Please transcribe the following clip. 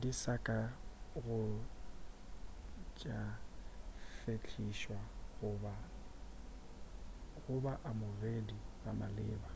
di sa ka go tša fehlišwa go ba amogedi ba maleba